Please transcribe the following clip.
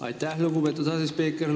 Aitäh, lugupeetud asespiiker!